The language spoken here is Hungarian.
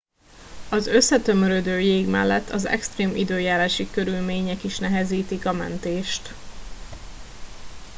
az összetömörödő jég mellett az extrém időjárási körülmények is nehezítik a mentést